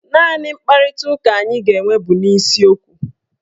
Naanị mkparitaụka anyị ga-enwe bụ n'isiokwu